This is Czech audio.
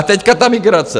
A teď ta migrace.